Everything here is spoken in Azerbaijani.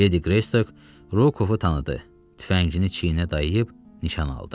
Ledi Qreystik Rokovu tanıdı, tüfəngini çiyninə dayıyıb nişan aldı.